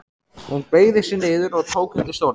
Hún beygði sig niður og tók undir stólinn.